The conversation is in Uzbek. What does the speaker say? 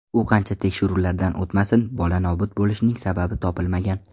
U qancha tekshiruvlardan o‘tmasin, bola nobud bo‘lishining sababi topilmagan.